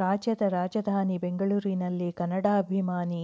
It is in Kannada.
ರಾಜ್ಯದ ರಾಜಧಾನಿ ಬೆಂಗಳೂರಿನಲ್ಲಿ ಕನ್ನಡಾಭಿಮಾನ